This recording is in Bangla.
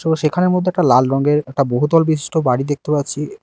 তো সেখানের মধ্যে একটা লাল রঙের একটা বহুতল বিশিষ্ট বাড়ি দেখতে পাচ্ছি।